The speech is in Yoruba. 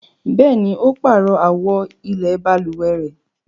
Bẹ̀ẹ́ni, ó páàrọ̀ àwo ilẹ̀ balùwẹ̀ rẹ.